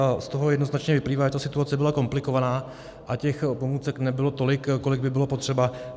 A z toho jednoznačně vyplývá, že ta situace byla komplikovaná a těch pomůcek nebylo tolik, kolik by bylo potřeba.